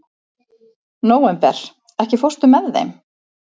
Nóvember, ekki fórstu með þeim?